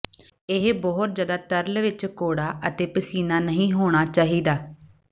ਇਹ ਬਹੁਤ ਜ਼ਿਆਦਾ ਤਰਲ ਵਿੱਚ ਕੌੜਾ ਅਤੇ ਪਸੀਨਾ ਨਹੀਂ ਹੋਣਾ ਚਾਹੀਦਾ